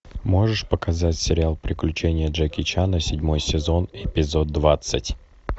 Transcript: можешь показать сериал приключения джеки чана седьмой сезон эпизод двадцать